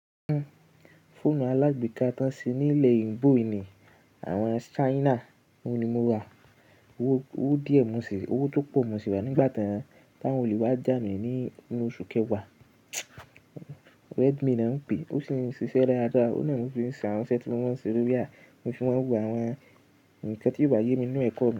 Fóònù alágbèéká tó n ṣe nílẹ̀ eyinbo yi ini, àwọn China, òun ni mo rà. Owó díẹ̀ mo sè, owó tó pọ̀ mo sì rà á nígbà tan, t'awọ́n ò lè wá jà mí ní oṣù kẹwàá. Redmi l'ọ́n ń pè é, ó sì ń ṣiṣẹ́ daadáá. Ó nà ni mo fi ń ṣà wọn iṣẹ́ tí mo maa ń ṣe lórí á, mo fi máa ń wo àwọn ǹkan tí bà yé mi nínú ẹ̀kọ́ mi.